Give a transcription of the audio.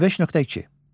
25.2.